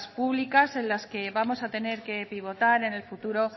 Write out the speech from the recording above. públicas en las que vamos a tener que pivotar en el futuro